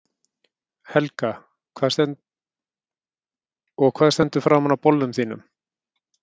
Helga: Og hvað stendur framan á bolnum þínum?